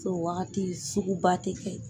O Waati suguba tɛ kɛ